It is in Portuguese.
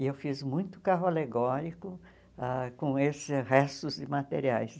E eu fiz muito carro alegórico ah com esses restos de materiais.